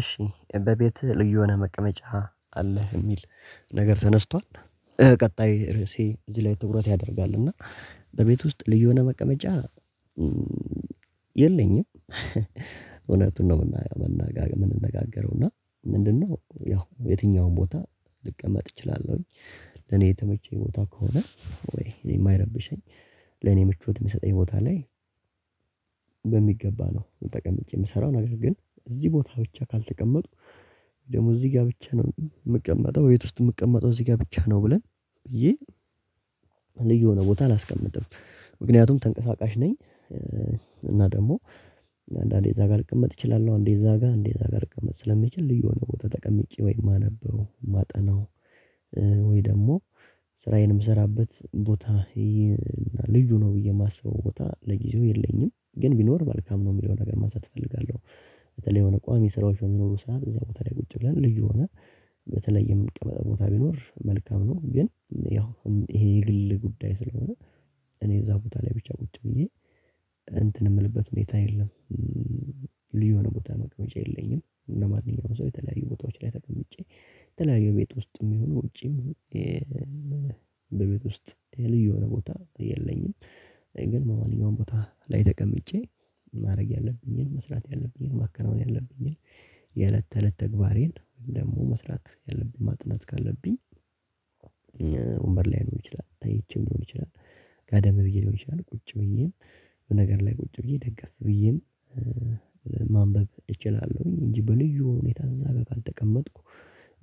እሺ እበቤትህ ልዩ ሆነህ መቀመጫ አለህ የሚል ነገር ተነስቷል። ቀጣይ ርዕሴ እዚህ ላይ ትኩረት ያደርጋል እና በቤት ውስጥ ልዩ የሆነ መቀመጫ። የለኝም እውነቱን ነው የምንነጋገረው እና ምንድነው ያው የትኛውም ቦታ ልቀመጥ እችላለሁኝ። ለኔ የተመቸኝ ቦታ ከሆነ ወይ እኔ የማይረብሸኝ ለኔ ምቾት የሚሰጠኝ ቦታ ላይ። በሚገባ ነው መጠቀምጬ የምሰራው ነገር ግን እዚህ ቦታ ብቻ ካልተቀመጡ ደግሞ እዚህ ጋር ብቻ ነው የምቀመጠው በቤት ውስጥ የምቀመጠው እዚህ ጋር ብቻ ነው ብለን ይህ ልዩ የሆነ ቦታ አላስቀምጥም ምክንያቱም ተንቀሳቃሽ ነኝ። እና ደግሞ እንደዛ ጋር ልቀመጥ እችላለሁ እንዴ እዛ ጋር እንዴ እዛ ጋር ልቀመጥ ስለሚችል ልዩ የሆነ ቦታ ተቀምጬ ወይ ማነበው ማጠናው። ወይ ደግሞ ስራዬን የምሰራበት ቦታ ልጁ ነው ብዬ የማስበው ቦታ ለጊዜው የለኝም ግን ቢኖር መልካም ነው የሚለው ነገር ማሳት እፈልጋለሁ። በተለይ የሆነ ቋሚ የሚኖሩ ሰዓት እዛ ቦታ ላይ ቁጭ ብለን ልዩ ሆነ በተለይ የምንቀመጥ ቦታ ቢኖር መልካም ነው። ግን ያው ይሄ የግል ጉዳይ ስለሆነ እኔ እዛ ቦታ ላይ ብቻ ቁጭ ብዬ እንትን የምልበት ሁኔታ የለም። ልዩ የሆነ ቦታ መቅመጫ የለኝም ለማንኛውም ሰው የተለያዩ ቦታዎች ላይ ተቀምጬ የተለያዩ ቤት ውስጥም ይሁኑ ውጪም። በቤት ውስጥ ልዩ የሆነ ቦታ የለኝም ግን ማንኛውም ቦታ ላይ ተቀምጬ ማድረግ ያለብኝን መስራት ያለብኝን ማከናወን ያለብኝን የእለት ተእለት ተግባሬን ደግሞ መስራት ያለብኝ ማጥናት ካለብኝ። ወንበር ላይ ሊሆን ይችላል ተኝቼም ሊሆን ይችላል። ገደብ ብዬ ሊሆን ይችላል ቁጭ ብዬም በነገር ላይ ቁጭ ብዬ ደገስ ብዬም ማንበብ እችላለሁኝ እንጂ በልዩ ሁኔታ እዛ ጋር ካልተቀመጥኩ።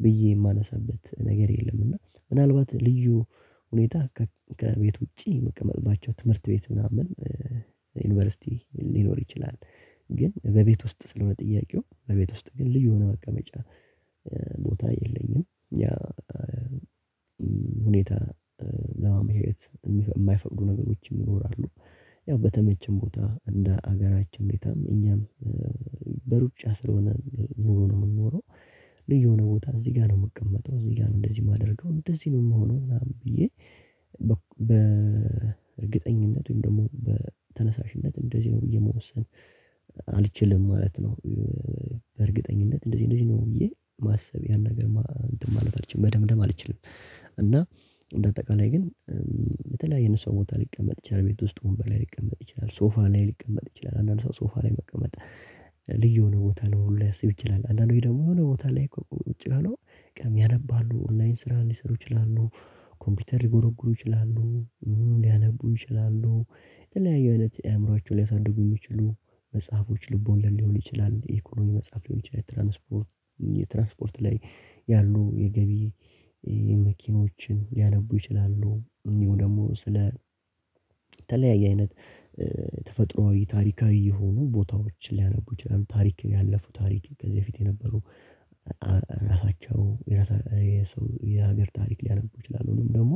ብዬ የማነሳበት ነገር የለም እና ምናልባት ልዩ ሁኔታ ከቤት ውጪ መቀመጥባቸው ትምህርት ቤት ምናምን ዩኒቨርሲቲ ሊኖር ይችላል ግን በቤት ውስጥ ስለሆነ ጥያቄው በቤት ውስጥ ግን ልዩ የሆነ መቀመጫ ቦታ የለኝም። ያ ሁኔታ ለማመቻቸት የማይፈልጉ ነገሮችን ይኖራሉ ያው በተመቸን ቦታ እንደ ሀገራችን እንዴት እኛም በሩጫ ስለሆነ ኑሮ ነው የምኖረው። ልዩ የሆነ ቦታ እዚህ ጋር ነው የምቀመጥነው እዚህ ጋር ነው እንደዚህ የማደርገው እንደዚህ ነው የምሆነው ምናምን ብዬ በእርግጠኝነቱም ደግሞ በተነሳሽነት እንደዚህ ነው ብዬ መወሰን አልችልም ማለት ነው። በእርግጠኝነት እንደዚህ እንደዚህ ነው ብዬ ማሰብ ያን ነገር ማለት አልችልም በደም ደም አልችልም። እና በአጠቃላይ ግን በተለያዩ የሰው ቦታ ሊቀመጥ ይችላል ቤት ውስጥ ሆኖ ላይ ሊቀመጥ ይችላል ሶፋ ላይ ሊቀመጥ ይችላል አንዳንድ ሰው ሶፋ ላይ መቀመጥ ልዩ የሆነ ቦታ ላይ ሊያስብ ይችላል። አንዳንዶች ደግሞ የሆነ ቦታ ላይ ቁጭ ብሎ ያነባሉ ኦንላይን ስራ ሊሰሩ ይችላሉ ኮምፒውተር ሊጎረጉሩ ይችላሉ። ሊያነቡ ይችላሉ የተለያዩ እለት አእምሮአቸው ሊያሳድጉ የሚችሉ መጽሐፎች ልቦና ሊሆን ይችላል የኢኮኖሚ መጽሐፍ ሊሆን ይችላል ትራንስፖርት የትራንስፖርት ላይ ያሉ የገቢ መኪኖችን ሊያነቡ ይችላሉ። ይሄው ደግሞ ተለያይ አይነት ተፈጥሮአዊ ታሪካዊ የሆኑ ቦታዎችን ሊያነቡ ይችላሉ ታሪክ ያለፉ ታሪክ ከዚህ በፊት የነበሩ ራሳቸው የሰው የሀገር ታሪክ ሊያነቡ ይችላሉ። ወይም ደግሞ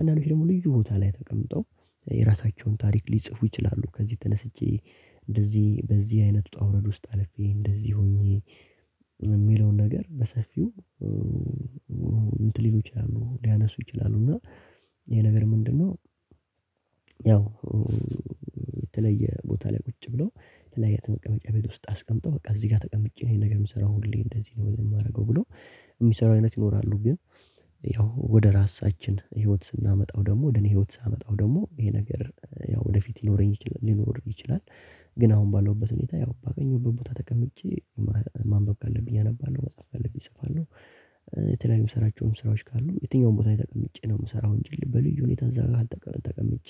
አንዳንዶች ደግሞ ልዩ ቦታ ላይ ተቀምጠው የራሳቸውን ታሪክ ሊጽፉ ይችላሉ። ከዚህ ተነስቼ እንደዚህ በዚህ አይነት ውጣ ውረድ ውስጥ አልፌ እንደዚህ ሆኜ የሚለውን ነገር በሰፊው እንትን ሊሉች ያሉ ሊያነሱ ይችላሉ። እና ይሄ ነገር ምንድነው? ያው ቦታ ላይ ቁጭ ብሎ የተለያየ መቀመጫ ቤት ውስጥ አስቀምጠው በቃ እዚህ ጋር ተቀምጬ ነው ይሄን ነገር የምሰራው ሁሌ እንደዚህ ነው የማደርገው ብሎ የሚሰሩ አይነት ይኖራሉ። ግን ያው ወደ ራሳችን ህይወት ስናመጣው ደግሞ ወደ እኔ ህይወት ሳመጣው ደግሞ ይሄ ነገር ያው ወደፊት ሊኖረኝ ይችላል ሊኖር ይችላል። ግን አሁን ባለውበት ሁኔታ ያው ባገኘው ቦታ ተቀምጬ ማንበብ ካለብኝ ያነባል መጽሐፍ ካለብኝ እጽፋለሁ። የተለያዩም ስራቸውም ስራዎች ካሉ የትኛውን ቦታ ተቀምጬ ነው የምሰራው እንጂ በልዩ ሁኔታ እዛ ጋር አልተቀመጨ ተቀምጬ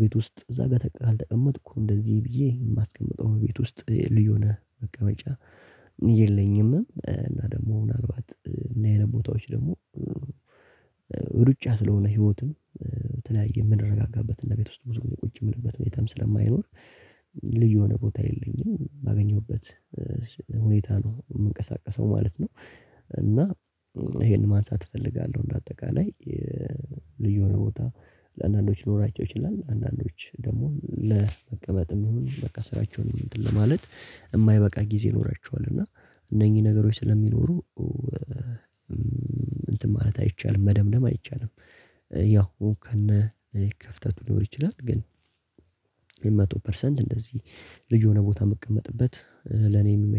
ቤት ውስጥ እዛ ጋር ካልተቀመጥኩ እንደዚህ ብዬ የማስቀምጠው ቤት ውስጥ ልዩ ነህ በቀመጫ የለኝም። እና ደግሞ ምናልባት እና የነ ቦታዎች ደግሞ ሩጫ ስለሆነ ህይወትን በተለያየ የምንረጋጋበት እና ቤት ውስጥ ብዙም ቁጭ የምልበት ሁኔታም ስለማይኖር ልዩ የሆነ ቦታ የለኝም በአገኘሁበት ሁኔታ ነው የምንቀሳቀሰው ማለት ነው። ይሄን ማንሳት እፈልጋለሁ በአጠቃላይ ልዩ የሆነ ቦታ ለአንዳንዶች ሊኖራቸው ይችላል ለአንዳንዶች ደግሞ መጥም ይሁን በቃ ስራቸውን ለማለት የማይበቃ ጊዜ ይኖራቸዋል እና እነኚህ ነገሮች ስለሚኖሩ እንትን ማለት አይቻልም መደምደም አይቻልም። ያው ከነ ክፍተቱ ሊኖር ይችላል ግን መቶ ፐርሰንት እንደዚህ ልጅ የሆነ ቦታ የምቀመጥበት ለኔ የሚመች